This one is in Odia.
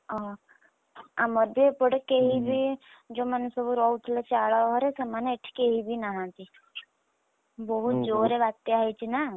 ଓହୋ ଆମର ବି ଏପଟେ କେହିବି breath ଯୋଉମାନେ ସବୁ ରହୁଥିଲେ ଚାଳ ଘରେ, ସେମାନେ ଏଠି କେହିବି ନାହାନ୍ତି ବହୁତ୍ ଜୋର୍‌ରେ ବାତ୍ୟା ହେଇଛି ନା!